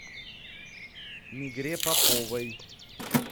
мигре поповой